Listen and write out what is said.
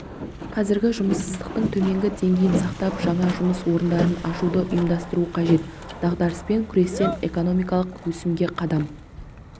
қазір жұмыссыздықтың төменгі деңгейін сақтап жаңа жұмыс орындарын ашуды ойластыру қажет дағдарыспен күрестен экономикалық өсімге қадам